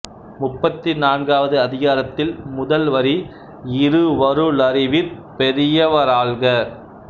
முப்பத்து நான்காவது அதிகாரத்தில் முதல் வரி இருவரு ளறிவிற் பெரியவ ராள்க